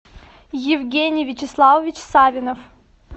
евгений вячеславович савинов